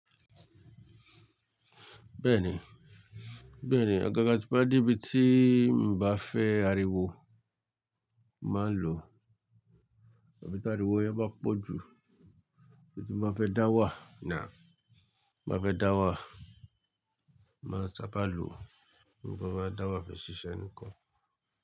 Bẹ́ẹ̀ni, bẹ́ẹ̀ni agaga ti n bá de bí tí n bá fẹ́ ariwo, má lò. Ariwo yẹn máa pọ jù, bí ti mo bá fẹ́ dá wà, náà. Mo bá fẹ́ dá wà, má sábá lò. Nígbà tí mo bá dá wà fẹ́ ṣiṣẹ́ nìkan.